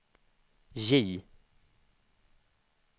J